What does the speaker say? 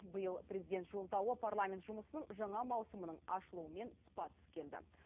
биыл президент жоладуы парламент жұмысының жаңа маусымының ашылуымен тұспа тұс келді